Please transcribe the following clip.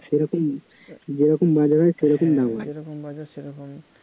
যেরকম বাজার হয় সেরকম দাম হয়